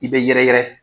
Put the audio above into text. I bɛ yɛrɛ yɛrɛ